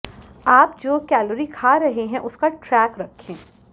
आप जो कैलोरी खा रहे हैं उसका ट्रैक रखें